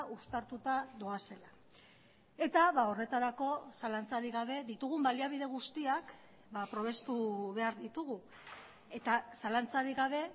uztartuta doazela eta horretarako zalantzarik gabe ditugun baliabide guztiak probestu behar ditugu eta zalantzarik gabe